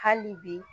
Hali bi